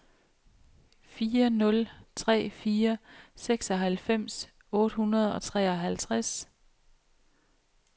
fire nul tre fire seksoghalvfems otte hundrede og treoghalvtreds